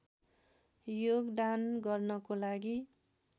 योगदान गर्नको लागि